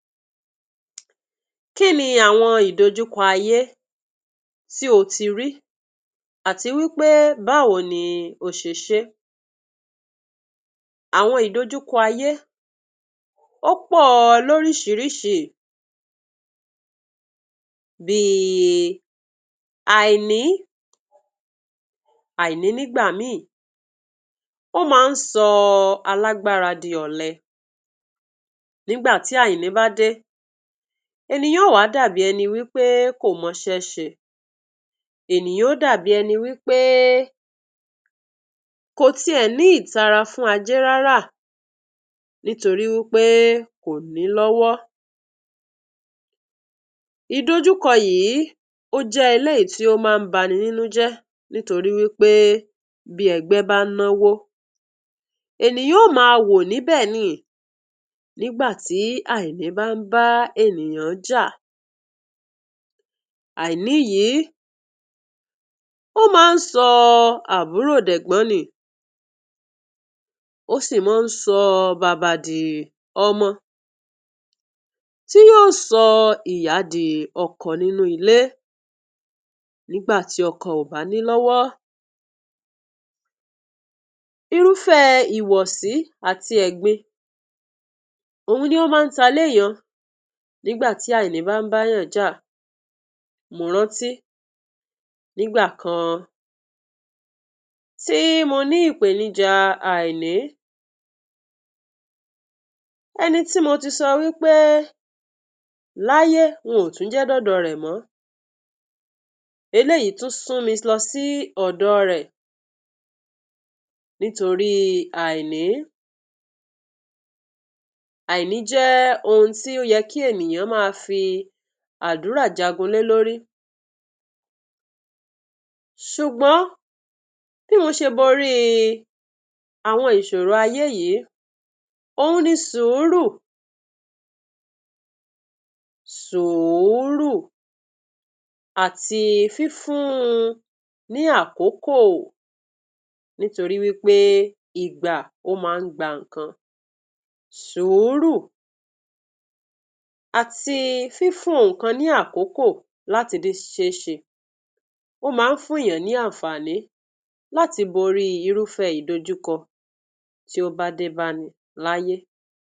Kí ni àwọn ìdojúkọ ayé tí o ti rí, àti pé báwo ni o ṣe ṣe é? Àwọn ìdojúkọ ayé ó pọ̀ọ lóríṣiríṣi, bíi àìní, àìní nígbà míì, ó máa ń sọ alágbára di ọ̀lẹ. Nígbà tí àìní bá dé, ènìyàn ó wá dàbí ẹni wí pé kò mọṣẹ́ ṣe. Ènìyàn ó dàbí wí pé kò tiẹ̀ ní ìtara fún ajé ráráà nítorí wí pé kò ní lọ́wọ́. Ìdojúkọ yìí, ó jẹ́ eléyìí tí ó máa ń baninínú jẹ́ nítorí wí pé bí ẹgbẹ́ bá ń náwó, ènìyàn ó má awò níbẹ̀ niì nígbà tí àìní bá ń bá ènìyàn jà. Àìní yìí ó máa ń sọ àbúrò dẹ̀gbọ́n niì, ó sì máa ń sọ baba di ọmọ, tí yóò sọ ìyá di ọkọ nínú ilé, nígbà tí ọkọ oò bá ní lọ́wọ́. Irúfẹ́ẹ ìwọ́sí àti ẹ̀gbin òhun ni ó máa ń ta lé èèyàn nígbà tí àìní bá báàyàn jà. Mo rántí nígbà kan tí mo ní ìpènijà àìní, ẹni tí mo ti sọ wí pé láye, n ò jẹ́ dọ́dọ̀ rẹ̀ mọ́, eléyìí tún sún mi lọ sí ọ̀dọ̀ rẹ̀ nítoríi àìní. Àìní jẹ́ ohun tí ó yẹ kí èniyàn máa fi àdúrà jagun lé lórí. Ṣùgbọ́n bí mo ṣe boríi àwọn ìṣòro ayé yìí òhun ni sùúrù. Sùúrù àti fífún un ní àkókò nítorí wí pé ìgbà ó máa ń gba nǹkan. Sùúrù àti fífún ohun kan ní àkókò láti le ṣe é ṣe. Ó máa ń fún èèyàn ní ànfààní láti borí irúfẹ́ ìdojúkọ tí ó bá dé báni láyé.